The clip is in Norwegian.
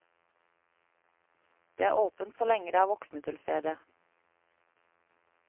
Det er åpent så lenge det er voksne til stede.